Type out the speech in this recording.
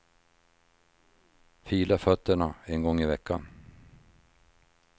Fila fötterna en gång i veckan.